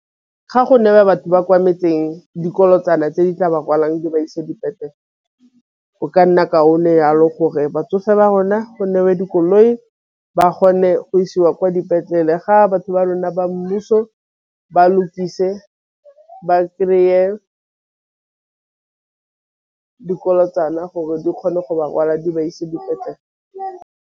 Ga go na le batho ba kwa metseng dikolotsana tse di tla ba kwalang di ba isa dipetlele o ka nna kaone yalo gore batsofe ba rona dikoloi ba kgone go isiwa kwa dipetlele ga batho ba rona ba mmuso ba lokise ba kry-e dikolotsana gore di kgone go ba rwala di ba ise dipetlele.